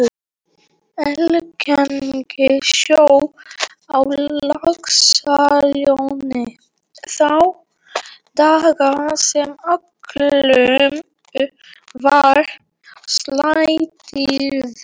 Algeng sjón á Laxalóni þá daga sem öllu var slátrað